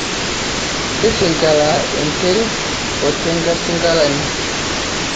tisingila enterit otenkasingilani